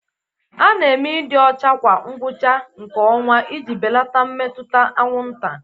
A na-eme ịdị ọcha kwa ngwụcha nke ọnwa iji belata mmetụta anwụnta.